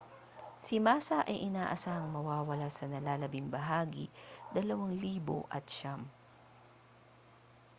si massa ay inaasahang mawawala sa nalalabing bahagi 2009